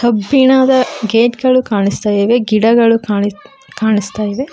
ಕಬ್ಬಿಣದ ಗೇಟ್ ಗಳು ಕಾಣಿಸ್ತಾ ಇವೆ ಗಿಡಗಳು ಕಾಣಿಸ್ತಾ ಇವೆ.